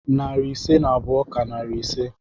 Narị ise na abụọ ka narị ise.